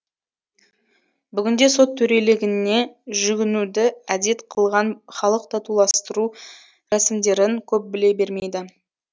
бүгінде сот төрелігіне жүгінуді әдет қылған халық татуластыру рәсімдерін көп біле бермейді